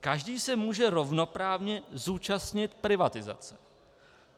Každý se může rovnoprávně zúčastnit privatizace.